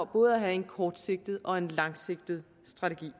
både at have en kortsigtet og en langsigtet strategi